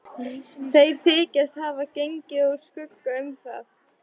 Þeir þykjast hafa gengið úr skugga um það.